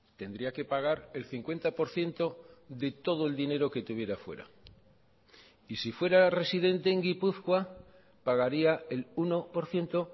tendría que pagar el cincuenta por ciento de todo el dinero que tuviera fuera y si fuera residente en gipuzkoa pagaría el uno por ciento